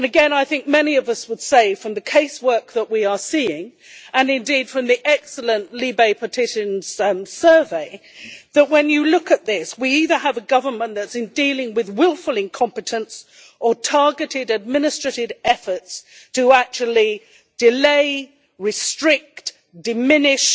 I think many of us would say from the case work that we are seeing, and indeed from the excellent LIBE petitions survey, that when you look at this, we either have a government that is dealing with wilful incompetence or targeted administrative efforts to actually delay, restrict, diminish